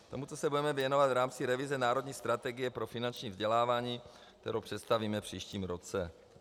Tomuto se budeme věnovat v rámci revize Národní strategie pro finanční vzdělávání, kterou představíme v příštím roce.